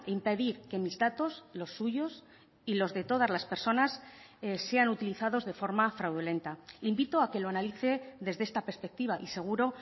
impedir que mis datos los suyos y los de todas las personas sean utilizados de forma fraudulenta invito a que lo analice desde esta perspectiva y seguro